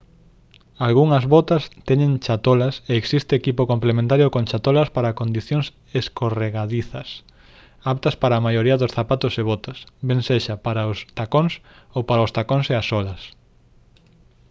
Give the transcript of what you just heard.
algunhas botas teñen chatolas e existe equipo complementario con chatolas para condicións escorregadizas aptas para a maioría dos zapatos e botas ben sexa para os tacóns ou para os tacóns e as solas